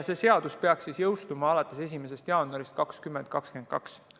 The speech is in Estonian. Seadus peaks jõustuma alates 1. jaanuarist 2022.